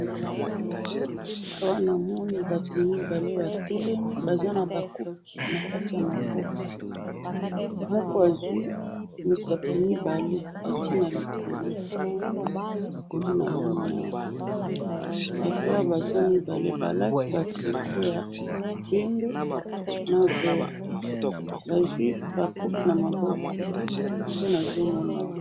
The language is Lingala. awa namoni batu mibale batelemi baza naba coupes nakati ya maboko, moko azui misapi mibale atie na likolo, nde namoni awa, batu awa baza mibale balati ba tricots ya pembe, na vert. bazui ba coupes na maboko. ngai nazomona awa